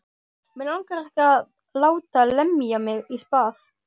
Mig langar ekki að láta lemja mig í spað.